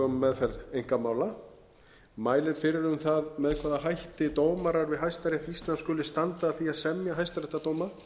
meðferð einkamála mælir fyrir um það með hvaða hætti dómarar við hæstarétt íslands skuli standa að því að semja hæstaréttardóma